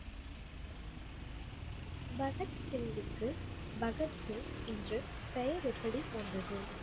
பகத் சிங்குக்கு பகத் சிங் என்று பெயர் எப்படி வந்தது?